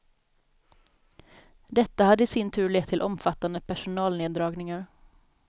Detta hade i sin tur lett till omfattande personalneddragningar.